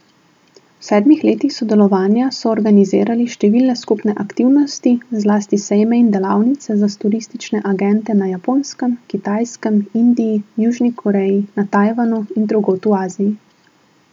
V sedmih letih sodelovanja so organizirali številne skupne aktivnosti, zlasti sejme in delavnice za turistične agente na Japonskem, Kitajskem, Indiji, Južni Koreji, na Tajvanu in drugod v Aziji.